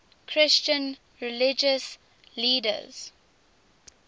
christian religious leaders